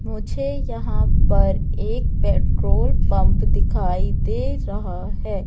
मुझे यहां पर एक पेट्रोल पंप दिखाई दे रहा है।